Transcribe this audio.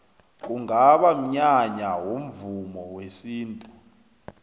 kungaba mnyanya womvumo wesintu